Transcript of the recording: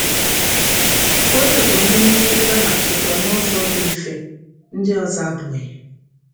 Ụfọdụ bụ ndị mmetụta na-achịkwa n’ụzọ dị mfe; ndị ọzọ abụghị.